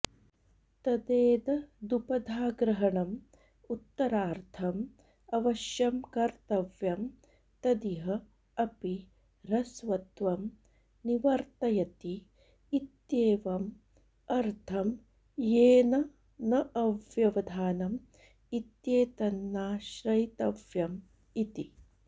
तदेददुपधाग्रहणम् उत्तरार्थम् अवश्यं कर्तव्यं तदिह अपि ह्रस्वत्वं निवर्तयति इत्येवम् अर्थं येन न अव्यवधानम् इत्येतन्नाश्रयितव्यम् इति